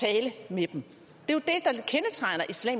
vi